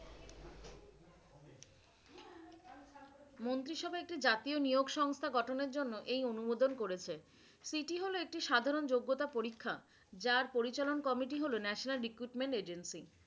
মন্ত্রিসভায় একটি জাতীয় নিয়োগ সংস্থা গঠনের জন্য এই অনুমোদন করেছে। CT হলো একটি সাধারণ যোগ্যতা পরীক্ষা। যার পরিচালন কমিটি হলো National Equipment Agency